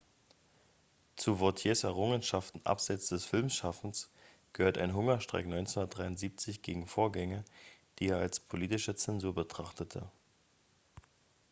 zu vautiers errungenschaften abseits des filmschaffens gehört ein hungerstreik 1973 gegen vorgänge die er als politische zensur betrachtete